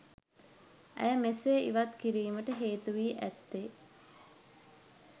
ඇය මෙසේ ඉවත් කිරීමට හේතුවී ඇත්තේ